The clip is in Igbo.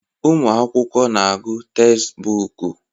ụmụ akwụkwọ na-agụ tezbọọku.